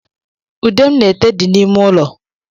Ude m na-ete di n’ime ụlọ